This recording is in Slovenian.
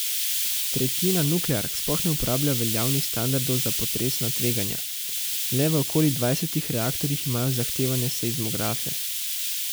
Tretjina nukleark sploh ne uporablja veljavnih standardov za potresna tveganja, le v okoli dvajsetih reaktorjih imajo zahtevane seizmografe.